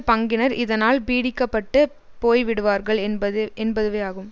பங்கினர் இதனால் பீடிக்கப்பட்டு போய்விடுவார்கள் என்பது என்பதுவேயாகும்